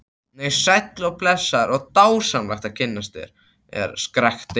Nei, sæll og blessaður og dásamlegt að kynnast þér, skrækti